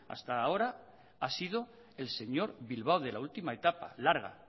hasta ahora ha sido el señor bilbao de la última etapa larga